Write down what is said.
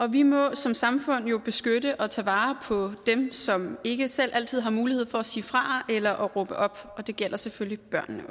vi må som samfund jo beskytte og tage vare på dem som ikke selv altid har mulighed for at sige fra eller råbe op og det gælder selvfølgelig